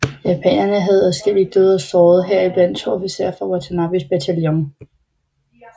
Japanerne havde adskillige døde og sårede heriblandt to officerer fra Watanabes bataljon